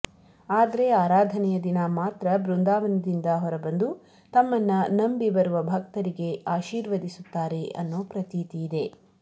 ಆದ್ರೆ ಆರಾಧನೆಯ ದಿನ ಮಾತ್ರ ಬೃಂದಾವನದಿಂದ ಹೊರಬಂದು ತಮ್ಮನ್ನ ನಂಬಿ ಬರುವ ಭಕ್ತರಿಗೆ ಆಶಿರ್ವದಿಸುತ್ತಾರೆ ಅನ್ನೋ ಪ್ರತೀತಿ ಇದೆ